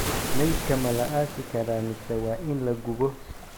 Maydka ma la aasi karaa, mise waa in la gubo?